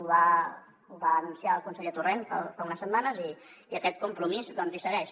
ho va anunciar el conseller torrent fa unes setmanes i aquest compromís doncs hi segueix